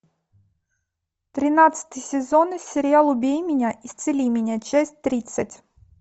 тринадцатый сезон сериал убей меня исцели меня часть тридцать